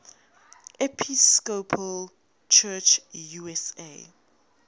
episcopal church usa